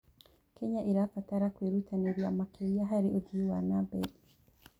Kenya ĩrabatara kwĩrutanĩria makĩria harĩ ũthii wa na mbere.